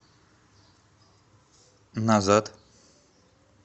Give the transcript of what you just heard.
назад